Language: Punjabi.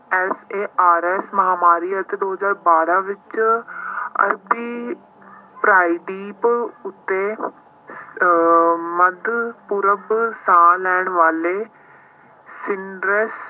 SARS ਮਹਾਂਮਾਰੀ ਅਤੇ ਦੋ ਹਜ਼ਾਰ ਬਾਰਾਂ ਵਿੱਚ ਅਧਿ ਪ੍ਰਾਈਦੀਪ ਉੱਤੇ ਅਹ ਮੱਧ ਪੂਰਵ ਸਾਹ ਲੈਣ ਵਾਲੇ ਸਿੰਡਰੇਸ